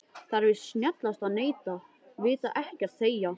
Það er víst snjallast að neita, vita ekkert, þegja.